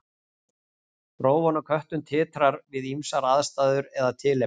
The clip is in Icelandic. Rófan á köttum titrar við ýmsar aðstæður eða tilefni.